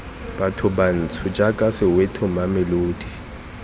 batho bantsho jaaka soweto mamelodi